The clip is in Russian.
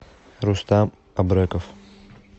рустам абреков